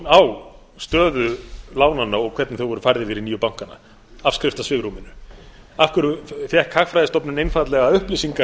á stöðu lánanna og hvernig þau voru færð yfir í nýju bankana afskriftasvigrúminu af hverju fékk hagfræðistofnun einfaldlega upplýsingar